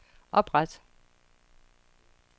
opret